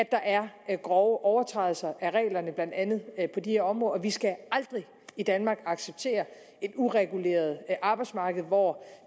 der er grove overtrædelser af reglerne blandt andet på de her områder vi skal aldrig i danmark acceptere et ureguleret arbejdsmarked hvor